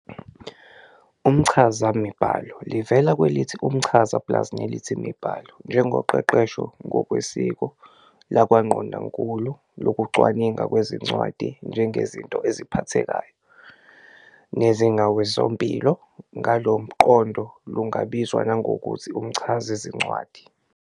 Umchazamibhalo, livela kwelithi 'umchaza' plus nelithi 'imibhalo', njengoqeqesho, ngokwesiko lakwangqondonkulu luwukucwaningwa kwezincwadi njengezinto eziphathekayo, nezingokwesikompilo, ngalomqondo lungabizwa nangokuthi umchazazincwadi.